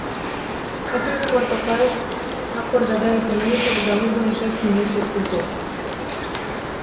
қасым жомарт тоқаев ақордада экономикалық даму бойынша кеңес өткізді